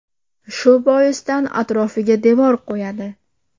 Shu boisdan atrofiga devor qo‘yadi.